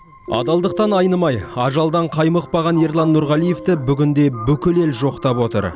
адалдықтан айнымай ажалдан қаймықпаған ерлан нұрғалиевті бүгін де бүкіл ел жоқтап отыр